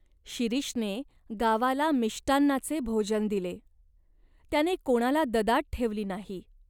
शिरीषने गावाला मिष्टान्नाचे भोजन दिले. त्याने कोणाला ददात ठेवली नाही.